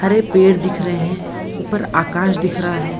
हरे पेड़ दिख रहे हैं उपर आकाश दिख रहा है।